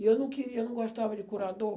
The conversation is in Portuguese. E eu não queria, eu não gostava de curador.